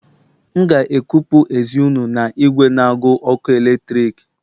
M ga-ekupụ ezi unu na igwe n'agu ọkụ eletrik